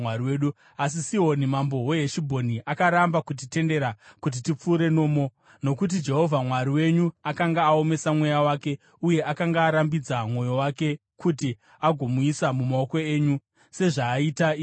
Asi Sihoni mambo weHeshibhoni akaramba kutitendera kuti tipfuure nomo. Nokuti Jehovha Mwari wenyu akanga aomesa mweya wake uye akanga arambidza mwoyo wake, kuti agomuisa mumaoko enyu, sezvaaita iye zvino.